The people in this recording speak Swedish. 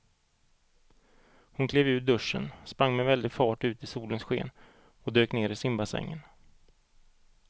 Hon klev ur duschen, sprang med väldig fart ut i solens sken och dök ner i simbassängen.